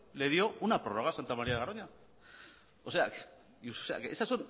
le dio una prórroga a santa maría de garoña o sea esas